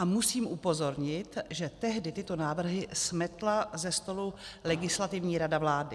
A musím upozornit, že tehdy tyto návrhy smetla ze stolu Legislativní rada vlády.